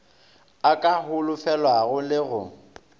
a ka holofelwago le go